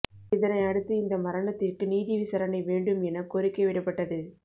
இதனை அடுத்து இந்த மரணத்திற்கு நீதி விசாரணை வேண்டும் என கோரிக்கை விடப்பட்டது